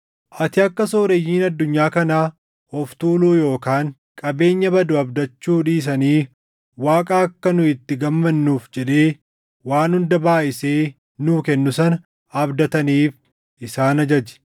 Ati akka sooreyyiin addunyaa kanaa of tuuluu yookaan qabeenya badu abdachuu dhiisanii Waaqa akka nu itti gammannuuf jedhee waan hunda baayʼisee nuu kennu sana abdataniif isaan ajaji.